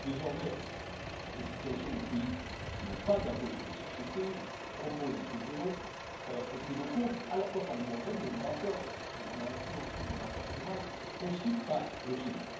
Désormais, la situation des pays qui n'ont pas d'impôt sur les sociétés ou qui proposent un taux zéro est prise en compte, à la fois par l'Union européenne mais là encore, nous avons influencé le débat international et aussi par l'OCDE.